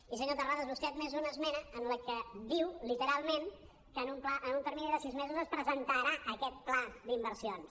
i senyor terrades vostè ha admès una esmena que diu literalment que en un termini de sis mesos es presentarà aquest pla d’inversions